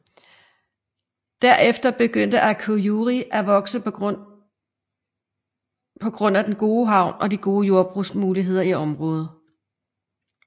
Derefter begyndte Akureyri at vokse på grund af den gode havn og de gode jordbrugsmuligheder i området